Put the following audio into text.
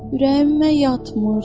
Ürəyimə yatmır.